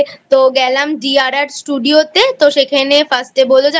তো গেলাম DRR Studio তে তো সেখানে First এ বলল যে